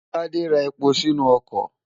Tádé ra epo sínú ọkọ̀.